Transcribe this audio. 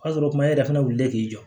O y'a sɔrɔ e yɛrɛ fana wulilen k'i jɔ